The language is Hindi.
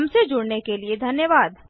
हमसे जुड़ने के लिए धन्यवाद